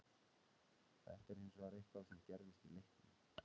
Þetta er hins vegar eitthvað sem gerðist í leiknum.